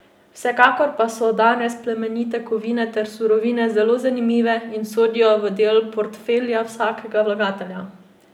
Vsekakor pa so danes plemenite kovine ter surovine zelo zanimive in sodijo v del portfelja vsakega vlagatelja!